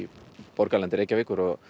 borgarlandi Reykjavíkur og